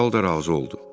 Kral da razı oldu.